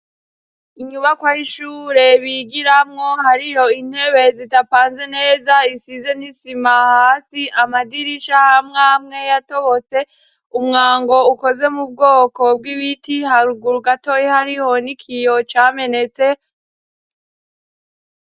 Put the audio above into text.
Inyubakwa y'ishure bigiramwo hariyo intebe zitapanze neza isize n'isima hasi amadirisha amwamwe yatobotse, umwango ukoze mu bwoko bw'ibiti haruguru gatoyi hariho n'ikiyo camenetse.